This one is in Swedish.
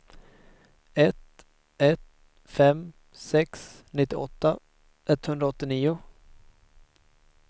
ett ett fem sex nittioåtta etthundraåttionio